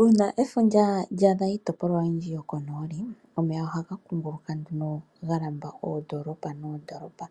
Uuna efundja lya adha iitopolwa oyindji yo konooli, omeya ohaga kunguluka nduno, ga lamba oondoolopa noondoolopa